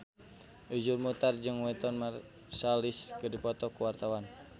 Iszur Muchtar jeung Wynton Marsalis keur dipoto ku wartawan